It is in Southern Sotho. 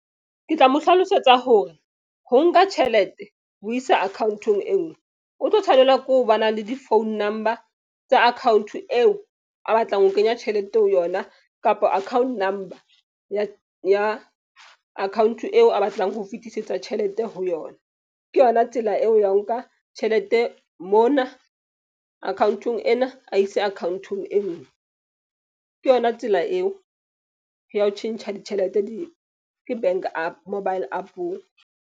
Ke tla mo hlalosetsa hore ho nka tjhelete ho isa akhaonteng e nngwe o tlo tshwanela ke ho ba na le di-phone number tsa account eo, a batlang ho kenya tjhelete ho yona kapa account number ya account eo a batlang ho fetisetsa tjhelete ho yona. Ke yona tsela eo ya ho nka tjhelete mona akhaonteng ena a ise akhaonteng e nngwe. Ke yona tsela eo ya ho tjhentjha ditjhelete ke bank App mobile App-ong.